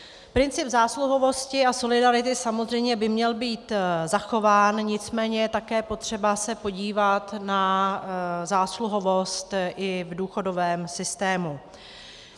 Princip zásluhovosti a solidarity samozřejmě by měl být zachován, nicméně je také potřeba se podívat na zásluhovost i v důchodovém systému.